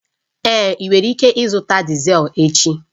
Èé, ị nwere ike ịzụta Dizel echi